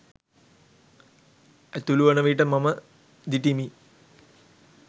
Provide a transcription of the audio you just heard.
ඇතුළුවන විට මම දිටිමි.